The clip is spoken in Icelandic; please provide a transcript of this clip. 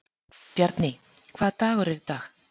Bjarný, hvaða dagur er í dag?